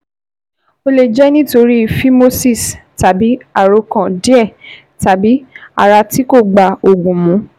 Ó lè jẹ́ nítorí phimosis tàbí àkóràn díẹ̀ tàbí ara tí kò bá oògùn mu